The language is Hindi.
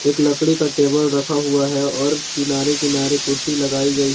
एक लकड़ी का टेबल रखा हुआ है और किनारे किनारे कुर्सी लगाई गई है।